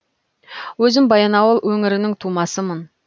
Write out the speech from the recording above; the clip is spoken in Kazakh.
өзім баянауыл өңірінің тумасымын